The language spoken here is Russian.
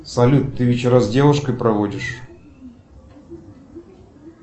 салют ты вечера с девушкой проводишь